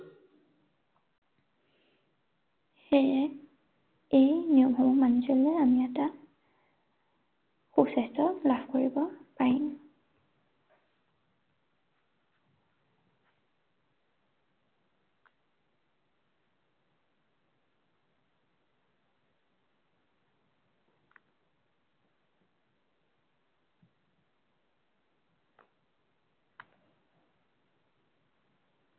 সেয়ে এই নিয়মসমূহ মানি চলিলে আমি এটা সুস্বাস্থ্য লাভ কৰিব পাৰিম।